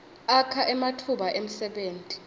akha ematfuba emsebenti